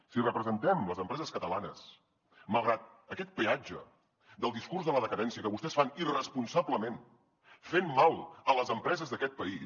si representem les empreses catalanes malgrat aquest peatge del discurs de la decadència que vostès fan irresponsablement fent mal a les empreses d’aquest país